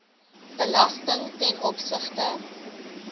belasting ten opsigte